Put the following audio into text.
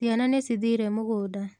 Ciana nĩcithire múgunda.